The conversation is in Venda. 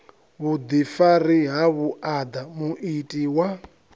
vhuḓifari ha vhuaḓa muiti wa